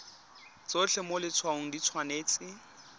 tsotlhe mo letshwaong di tshwanetse